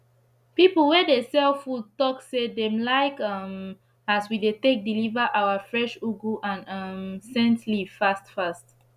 pipu wey dey sell food talk say dem like um as we dey take deliver our fresh ugu and um scent leaf fast fast